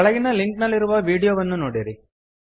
ಕೆಳಗಿನ ಲಿಂಕ್ ನಲ್ಲಿರುವ ವೀಡಿಯೋವನ್ನು ನೋಡಿರಿ